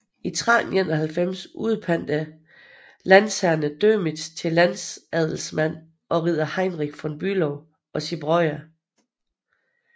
I 1391 udpantede landsherrerne Dömitz til landadelsmand og ridder Heinrich von Bülow og sine brødre